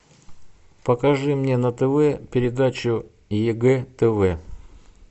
покажи мне на тв передачу егэ тв